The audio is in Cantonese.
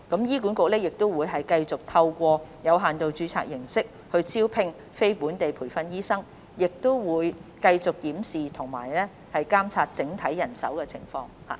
醫管局將繼續透過有限度註冊形式招聘非本地培訓醫生，亦會繼續檢視和監察整體人手情況。